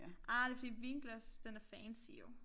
Ah det fordi et vinglas den er fancy jo